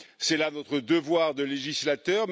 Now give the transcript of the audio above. C'est là notre devoir de législateur.